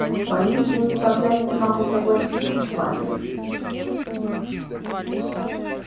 боюсь я никак не могу согласиться с вами